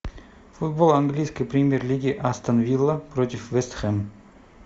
футбол английской премьер лиги астон вилла против вест хэм